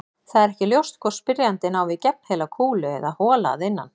Það er ekki ljóst hvort spyrjandinn á við gegnheila kúlu eða hola að innan.